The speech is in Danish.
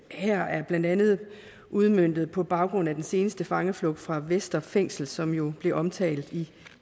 her er blandt andet udmøntet på baggrund af den seneste fangeflugt fra vestre fængsel som jo blev omtalt i